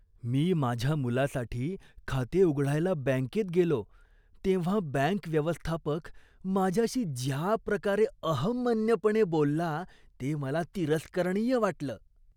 मी माझ्या मुलासाठी खाते उघडायला बँकेत गेलो तेव्हा बँक व्यवस्थापक माझ्याशी ज्याप्रकारे अहंमन्यपणे बोलला ते मला तिरस्करणीय वाटलं.